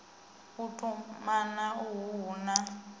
u tumana uhu hu na